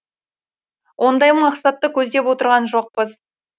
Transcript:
ондай мақсатты көздеп отырған жоқпыз